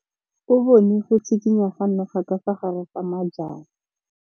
O bone go tshikinya ga noga ka fa gare ga majang.